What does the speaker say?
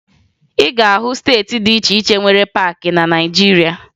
Ị ga-ahụ steeti dị iche iche nwere paakị na Naịjirịa